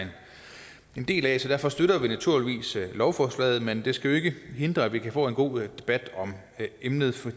en del af så derfor støtter vi naturligvis lovforslaget men det skal ikke hindre at vi kan få en god debat om emnet for